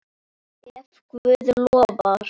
Ef Guð lofar.